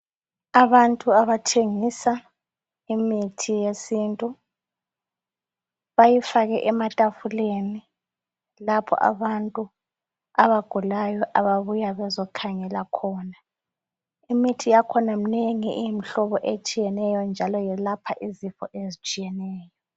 Abantu abathengisa imithi yesintu bayifake ematafuleni lapho abantu abagulayo ababuya bezokhangela khona imithi yakhona imnengi iyimhlobo etshiyeneyo njalo yelapha izifo ezitshiyeneyo.